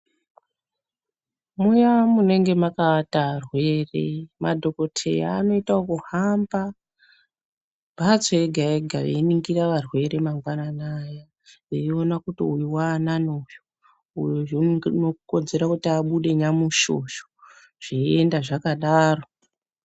Muyaaa munenge mwakaata arwere madhokotheya anoita ekuhamba mhatso yega yega veiningira arwere mangwanani ayaa. Veiona kuti uyu waanani uyu, uyu zvee unokodzera kuti abude nyamushi uyu zveienda zvakadaro.